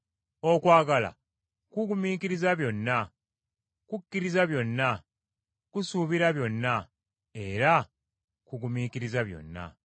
Okwagala kugumira byonna, kukkiriza byonna, kusuubira byonna era kugumiikiriza byonna.